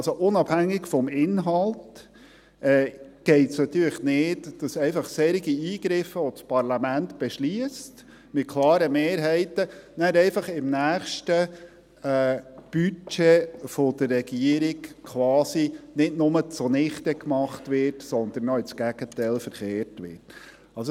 Es geht unabhängig vom Inhalt nicht, dass solche Eingriffe, die das Parlament mit klaren Mehrheiten beschliesst, im nächsten Budget der Regierung nicht nur zunichtegemacht, sondern sogar ins Gegenteil verkehrt werden.